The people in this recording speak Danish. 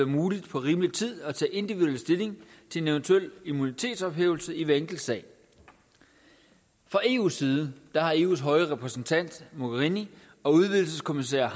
muligt på rimelig tid at tage individuel stilling til en eventuel immunitetsophævelse i hver enkelt sag fra eus side har eus høje repræsentant mogherini og udvidelseskommisær